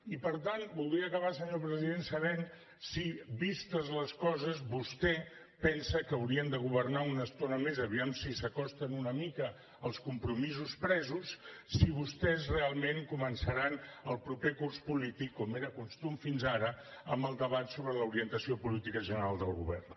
i per tant voldria acabar senyor president sabent si vistes les coses vostè pensa que haurien de governar una estona més a veure si s’acosten una mica als compromisos presos si vostès realment començaran el proper curs polític com era costum fins ara amb el debat sobre l’orientació política general del govern